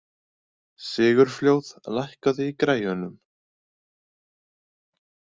Sigurfljóð, lækkaðu í græjunum.